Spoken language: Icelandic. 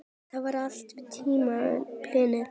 Það var allan tímann planið.